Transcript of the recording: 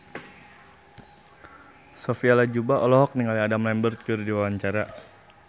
Sophia Latjuba olohok ningali Adam Lambert keur diwawancara